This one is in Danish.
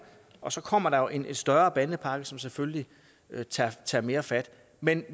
og så kommer der jo en større bandepakke som selvfølgelig tager mere fat men